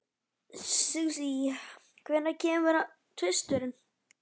Susie, hvenær kemur tvisturinn?